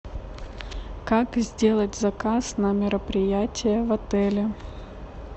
как сделать заказ на мероприятие в отеле